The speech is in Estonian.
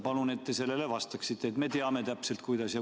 Palun, et te sellele vastaksite, siis me teame täpselt, kuidas edasi.